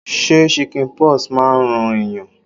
Ṣé chicken pox máa ń ran ẹ̀yàn.?